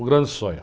O grande sonho.